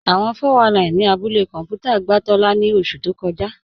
Awọ́n 419 ni àbúlẹ̀ kọnpútà gbà Tóla ni ọṣu tó kọ́jà